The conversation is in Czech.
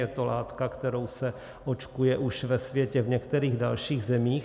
Je to látka, kterou se očkuje už ve světě v některých dalších zemích.